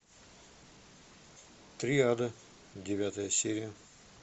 триада девятая серия